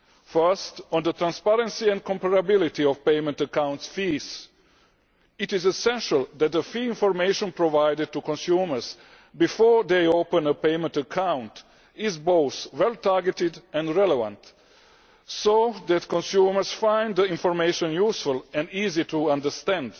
First, on the transparency and comparability of payment account fees it is essential that fee information provided to consumers before they open a payment account is both well targeted and relevant, so that consumers find the information useful and easy to understand.